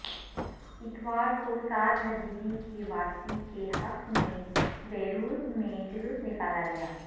اتوار کو Saad Hariri کی واپسی کے حق میں بیروت میں جلوس نکالا گیا